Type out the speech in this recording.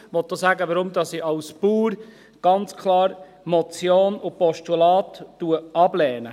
Ich möchte auch sagen, warum ich als Bauer ganz klar die Motion und das Postulat ablehne.